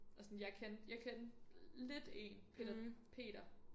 Og sådan jeg kendte jeg kendte lidt én Peter Peter